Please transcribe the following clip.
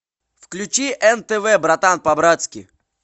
включи нтв братан по братски